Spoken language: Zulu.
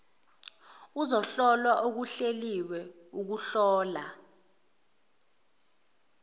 ukuhlola okuhleliwe ukuhlola